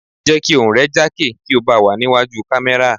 Jẹ́ kí ohùn rẹ jákè tí ó bá wà ní wájú kámẹ́rà.